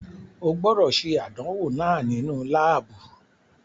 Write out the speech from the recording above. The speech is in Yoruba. O gbọdọ ṣe àdánwò náà nínú laabu